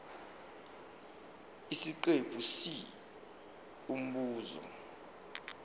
isiqephu c umbuzo